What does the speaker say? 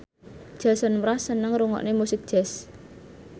Jason Mraz seneng ngrungokne musik jazz